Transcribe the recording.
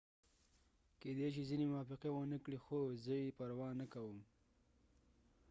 کيدې شي ځینې موافقه ونه کړي خو زه یې پروا نه کوم